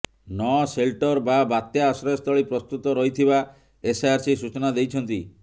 ନ ସେଲଟର ବା ବାତ୍ୟା ଆଶ୍ରୟ ସ୍ଥଳୀ ପ୍ରସ୍ତୁତ ରହିଥିବା ଏସଆରସି ସୂଚନା ଦେଇଛନ୍ତି